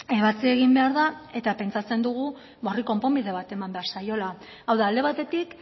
ebatzi egin behar da eta pentsatzen dugu ba horri konponbide bat eman behar zaiola hau da alde batetik